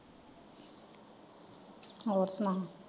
ਹੋਰ ਸੁਣਾ।